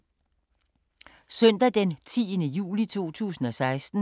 Søndag d. 10. juli 2016